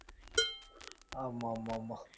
ஆமா ஆமா ஆமா